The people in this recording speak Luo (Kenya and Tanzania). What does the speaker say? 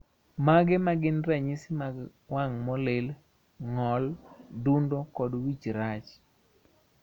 Mage magin ranyisi mag wang` molil, ng`ol, dundo, kod wich rach?